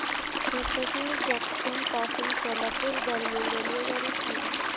Hotgi junction पासून सोलापूर दरम्यान रेल्वेगाडी सांगा